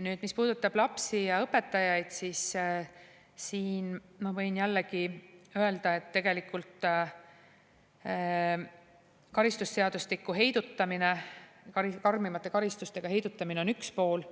Nüüd, mis puudutab lapsi ja õpetajaid, siis siin ma võin jällegi öelda, et tegelikult karistusseadustikuga, karmimate karistustega heidutamine on üks pool,